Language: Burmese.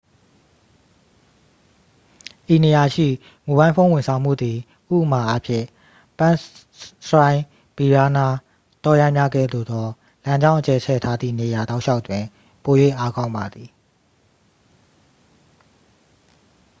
ဤနေရာရှိ မိုဘိုင်းဖုန်းဝန်ဆောင်မှုသည် ဥပမာ အားဖြင့် ပန်းစရိုင်းဗီရားနား တောရိုင်းများကဲ့သို့သော လမ်းကြောင်း အကျယ်ချဲ့ ထားသည့်နေရာတောက်လျှောက်တွင် ပို၍အားကောင်းပါသည်